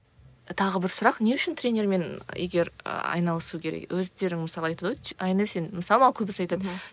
тағы бір сұрақ не үшін тренермен егер айналысу керек өздерің мысалы айтады ғой айнель сен мысалы маған көбісі айтады